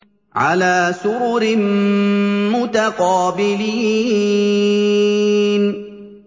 عَلَىٰ سُرُرٍ مُّتَقَابِلِينَ